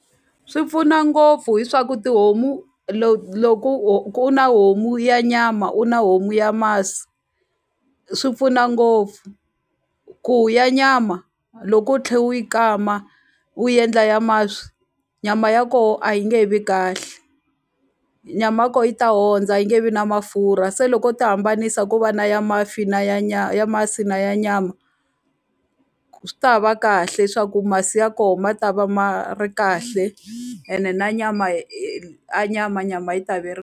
Swi pfuna ngopfu hi swa ku tihomu loko ku na homu ya nyama u na homu ya masi swi pfuna ngopfu ku ya nyama loko u tlhe u yi kama u endla ya masi nyama ya koho a yi nge he vi kahle nyama ya ko yi ta ondza a yi nge vi na mafurha se loko u ti hambanisa ku va na ya mafi na ya ya masi na ya nyama swi ta va kahle swa ku masi ya ko ma ta va ma ri kahle ene na nyama a nyama nyama yi ta ve .